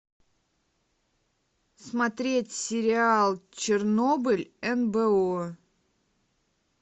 смотреть сериал чернобыль нбо